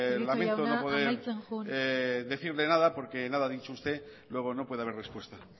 lamento prieto jauna amaitzen joan lamento no poder decirle nada porque nada ha dicho usted luego no puede haber respuesta